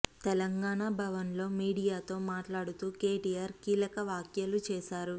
తెలంగాణా భవన్ లో మీడియా తో మాట్లాడుతూ కేటిఆర్ కీలక వ్యాఖ్యలు చేసారు